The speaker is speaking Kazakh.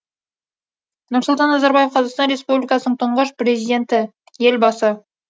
нұрсұлтан назарбаев қазақстан республикасының тұңғыш президенті елбасы